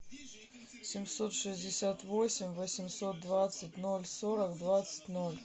семьсот шестьдесят восемь восемьсот двадцать ноль сорок двадцать ноль